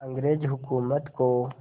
अंग्रेज़ हुकूमत को